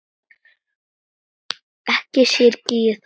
Ekki syrgi ég það.